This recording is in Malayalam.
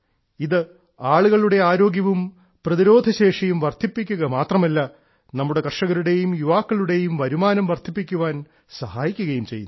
ഇത് ആളുകളുടെ ആരോഗ്യവും പ്രതിരോധശേഷിയും വർദ്ധിപ്പിക്കുക മാത്രമല്ല നമ്മുടെ കർഷകരുടേയും യുവാക്കളുടെയും വരുമാനം വർധിപ്പിക്കാൻ സഹായിക്കുകയും ചെയ്യുന്നു